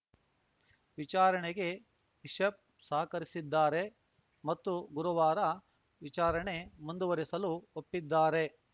ವಿಚಾರಣೆಗೆ ಬಿಷಪ್‌ ಸಹಕರಿಸಿದ್ದಾರೆ ಮತ್ತು ಗುರುವಾರ ವಿಚಾರಣೆ ಮುಂದುವರಿಸಲು ಒಪ್ಪಿದ್ದಾರೆ